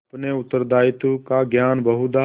अपने उत्तरदायित्व का ज्ञान बहुधा